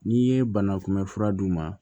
N'i ye banakunbɛ fura d'u ma